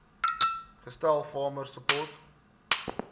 gestel farmer support